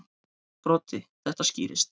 Broddi: Þetta skýrist.